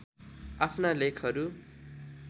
आफ्ना लेखहरू